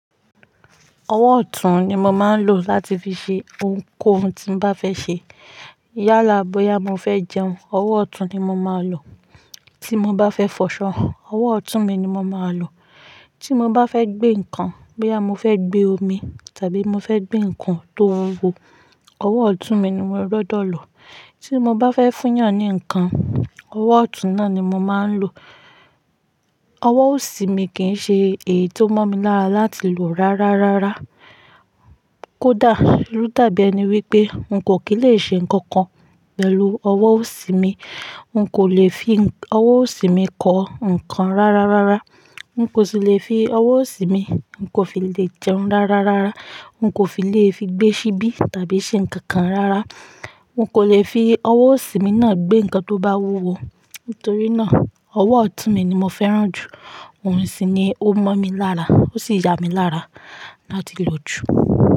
Ọwọ́ ọ̀tún ni mo máa ń lò láti fi ṣe ohunkóhun tí mo bá fẹ́ ṣe. Yálà bóyá mo fẹ́ jẹun, ọwọ́ ọ̀tún ni mo máa lò. Tí mo bá fẹ́ fọṣọ, ọwọ́ ọ̀tún mi ni mo máa lò. Tí mo bá fẹ́ gbé nǹkan, bóyá mo fẹ́ gbé omi tàbí mo fẹ́ gbé nǹkan ti o wúwo, ọwọ́ ọ̀tún mi ni mo máa gbodo lò. Tí mo bá fẹ́ fún yàn ni nǹkan, ọwọ́ ọ̀tún náà ni mo máa ń lò. Ọwọ́ òsì mi kì í ṣe èyí ti o mọ́ mi lára láti lò rárárárá. Kódà, ló dàbí ẹni wípé n kò kí lè ṣe nǹkan kan pẹ̀lú ọwọ́ òsì mi. N kò lè fi ọwọ́ òsì mi kọ nǹkan rárárárá. N kò sì le fi ọwọ́ òsì mi, n kò fi lè jẹun rárárárá. N kò fi lè fi gbé ṣíbí tàbí ṣe nǹkan kan rárá. N kò lè fi ọwọ́ òsì mi náà gbé nǹkan ti o bá wúwo. Nítorí náà, ọwọ́ ọ̀tún mi ni mo fẹ́ràn jù. Òun sì ni ó mọ́ mi lára, ó sì ya mi lára láti lò jù.